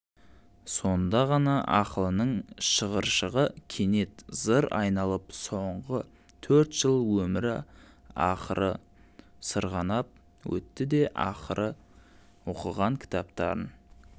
сонда ғана ақылының шығыршығы кенет зыр айналып соңғы төрт жыл өмірі арқылы сырғанап өтті де ақыры оқыған кітаптарын